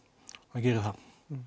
hann gerir það